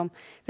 þá